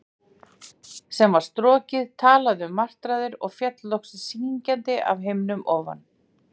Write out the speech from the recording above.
sem var strokið, talaði um martraðir, og féll loks syngjandi af himni ofan?